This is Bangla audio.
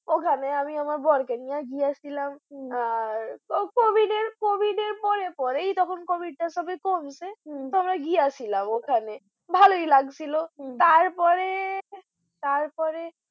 ওখানে আমি আমার বর কে নিয়ে গেছিলাম হম COVID এর পরে পরেই COVID টা সবে সবে কমছে হম তো আমরা গিয়েছিলাম ভালোই লাগছিলো হম তারপরে তারপরে